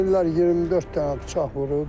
Deyirlər 24 dənə bıçaq vurub.